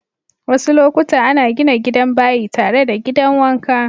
Wassu lokuta ana gina gidan bayi tare da gidan wanka.